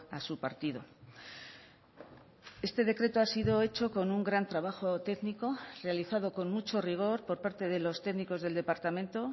a su partido este decreto ha sido hecho con un gran trabajo técnico realizado con mucho rigor por parte de los técnicos del departamento